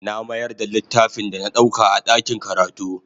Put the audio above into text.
Na mayar da littafin da na ɗauka a ɗakin karatu.